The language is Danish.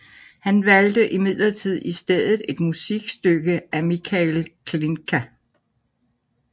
Han valgte imidlertid i stedet et musikstykke af Mikhail Glinka